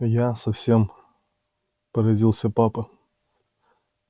я совсем поразился папа